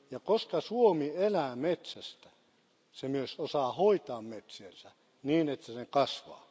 Koska Suomi elää metsästä, se myös osaa hoitaa metsiänsä niin, että ne kasvavat.